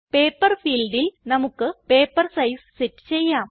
paper ഫീൽഡിൽ നമുക്ക് paper size set ചെയ്യാം